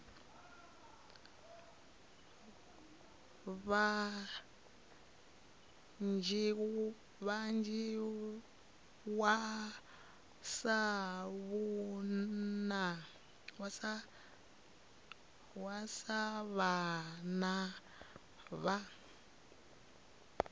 vha dzhiwa sa vhana vha